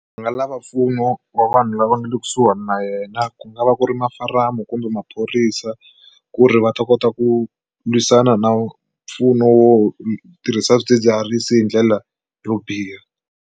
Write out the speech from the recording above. Va nga lava mpfuno wa vanhu lava nga le kusuhani na yena ku nga va ku ri mafaramu kumbe maphorisa ku ri va ta kota ku lwisana na mpfuno wo tirhisa swidzidziharisi hi ndlela yo biha.